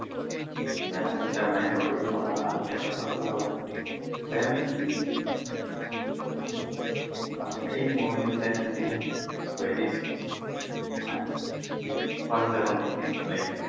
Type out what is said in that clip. যে hight টা match হবে কি হবে না hight টা match হবে কি হবে না then